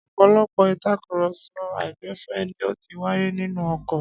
Ọ̀pọ̀lọpọ̀ ìtakùrọ̀sọ àìgbẹ̀fẹ̀ ni ó ti wáyé nínú ọkọ̀.